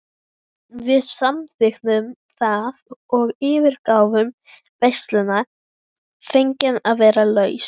Við samþykktum það og yfirgáfum veisluna fegin að vera laus.